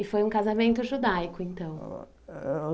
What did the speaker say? E foi um casamento judaico, então? Ãh